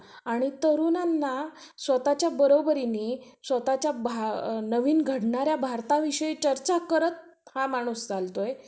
आणि तरुणांना स्वतःच्या बरोबरीनि स्वतःच्या नवीन घडणाऱ्या भारताविषयी चर्चा करत हा माणूस चालतोय.